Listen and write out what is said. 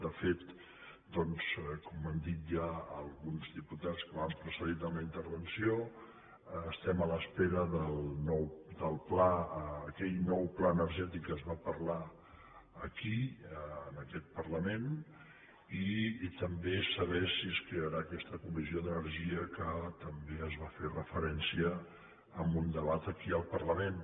de fet com han dit ja alguns diputats que m’han precedit en la intervenció estem a l’espera d’aquell nou pla energètic de què es va parlar aquí en aquest parlament i també de saber si és crearà aquesta comissió d’energia que també s’hi va fer referència en un debat aquí al parlament